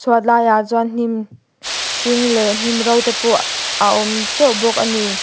chhuat lai ah chuan hnim hring leh hnim ro te pawh a awm teuh bawk a ni.